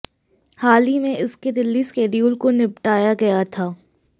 हाल ही में इसके दिल्ली शेड्यूल को निबटाया गया था